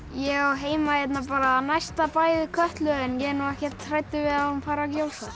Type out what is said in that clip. ég á heima á næsta bæ við Kötlu en ég er ekkert hræddur við að hún fari að